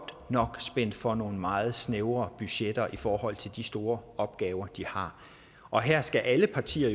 nok er spændt for nogle meget snævre budgetter i forhold til de store opgaver de har og her skal alle partier